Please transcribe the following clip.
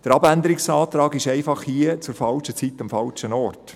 Der Abänderungsantrag ist hier aus unserer Sicht zur falschen Zeit am falschen Ort.